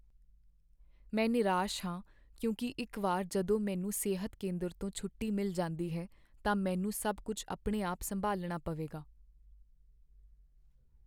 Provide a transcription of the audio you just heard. ਮੈਂ ਨਿਰਾਸ਼ ਹਾਂ ਕਿਉਂਕਿ ਇੱਕ ਵਾਰ ਜਦੋਂ ਮੈਨੂੰ ਸਿਹਤ ਕੇਂਦਰ ਤੋਂ ਛੁੱਟੀ ਮਿਲ ਜਾਂਦੀ ਹੈ ਤਾਂ ਮੈਨੂੰ ਸਭ ਕੁੱਝ ਆਪਣੇ ਆਪ ਸੰਭਾਲਣਾ ਪਵੇਗਾ।